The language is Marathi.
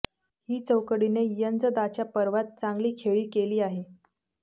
ही चौकडीने यंजदाच्या पर्वात चांगली खेळी केली आहे